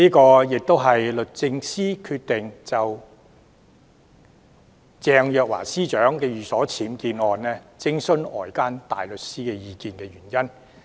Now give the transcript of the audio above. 這亦是律政司決定就鄭若驊司長的寓所僭建案，徵詢外間大律師意見的原因。